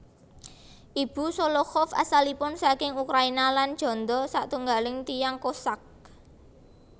Ibu Sholokhov asalipun saking Ukraina lan janda satunggaling tiyang Kossak